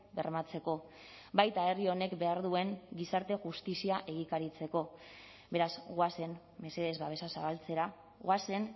bermatzeko baita herri honek behar duen gizarte justizia egikaritzeko beraz goazen mesedez babesa zabaltzera goazen